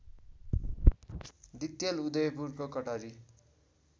दिक्तेल उदयपुरको कटारी